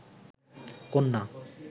কন্যা